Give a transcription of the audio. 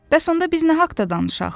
Bəs onda biz nə haqda danışaq?